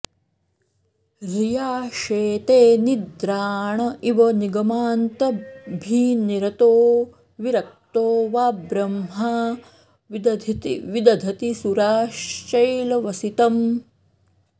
ह्रिया शेते निद्राण इव निगमान्ताभिनिरतो विरक्तो वा ब्रह्मा विदधति सुराः शैलवसतिम्